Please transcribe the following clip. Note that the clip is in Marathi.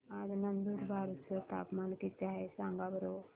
आज नंदुरबार चं तापमान किती आहे सांगा बरं